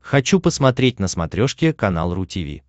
хочу посмотреть на смотрешке канал ру ти ви